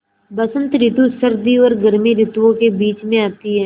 बसंत रितु सर्दी और गर्मी रितुवो के बीच मे आती हैँ